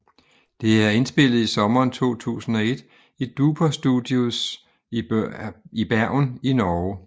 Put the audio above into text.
Det er indspillet i sommeren 2001 i Duper Studios i Bergen i Norge